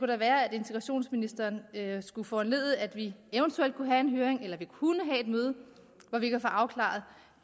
da være at integrationsministeren skulle foranledige at vi eventuelt kunne have en høring eller at vi kunne have et møde hvor vi kan få afklaret